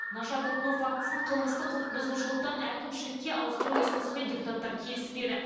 наша тұтыну фактісін қылмыстық құқықбұзушылықтан әкімшілікке ауыстыру ұсынысымен депутаттар келіспеді